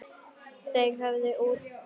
Þeir höfðu útkljáð málið.